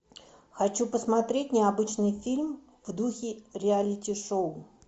хочу посмотреть необычный фильм в духе реалити шоу